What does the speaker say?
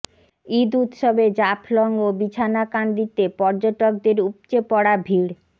ঈদ উৎসবে জাফলং ও বিছনাকান্দিতে পর্যটকদের উপচে পড়া ভীড়